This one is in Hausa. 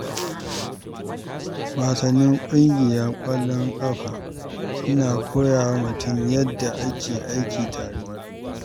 Wasannin ƙungiya kamar ƙwallon ƙafa suna koya wa mutum yadda ake aiki tare.